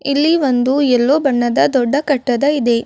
ಇಲ್ಲಿ ಒಂದು ಯೆಲ್ಲೋ ಬಣ್ಣದ ದೊಡ್ಡ ಕಟ್ಟದ ಇದೆ.